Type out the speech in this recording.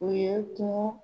O ye kungo